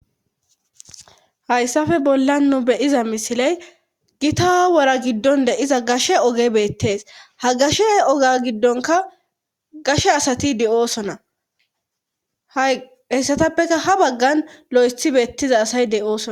Hayssappe bolla nu beyiza misiley gita wora giddon de'iza gashe oge beettees ha gashe oge giddonka gashe asati de7oosona ha heyssatappeka ha baggan lo7eshi beettiza asay de7oosona.